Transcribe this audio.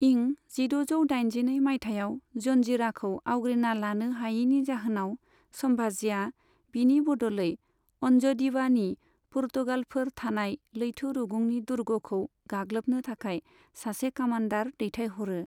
इं जिद'जौ दाइजिनै माइथायाव जन्जिराखौ आवग्रिना लानो हायैनि जाहोनाव, संभाजीआ बिनि बदलै अन्जडिवानि पुर्तगालफोर थानाय लैथो रुगुंनि दुर्गखौ गाग्लोबनो थाखाय सासे कामान्डार दैथायहरो।